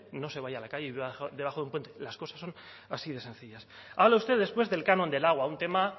no se vaya a la calle y viva debajo de un puente las cosas son así de sencillas habla usted después del canon del agua un tema